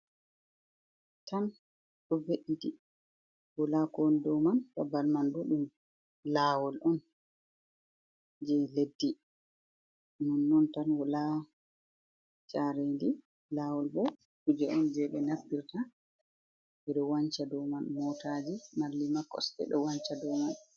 Tan ɗo ve'it wala ko won do man babbal man ɗo ɗum lawol on je leddi nonnon tan wala jarendi lawol bo kuje on je ɓe naftirta je ɗo wanca dow man motaji malli ma koste do wanca dow man.